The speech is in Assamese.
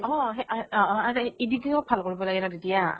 অ মানে সে অ অ অ editing ত ভাল কৰিব লাগে ন তেতিয়া ?